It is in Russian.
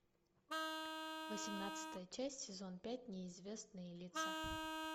восемнадцатая часть сезон пять неизвестные лица